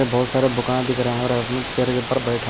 बहुत सारा बुका दिख रहा है और बैठ --